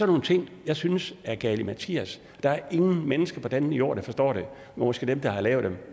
nogle ting jeg synes er galimatias der er ingen mennesker på denne jord der forstår det jo måske dem der har lavet det